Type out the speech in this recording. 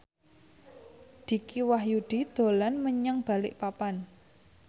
Dicky Wahyudi dolan menyang Balikpapan